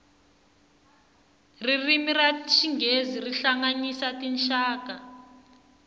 ririmi ra xinghezi ri hlanganyisa tinxaka